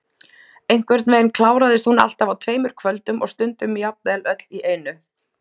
Einhvern veginn kláraðist hún alltaf á tveimur kvöldum og stundum jafnvel öll í einu.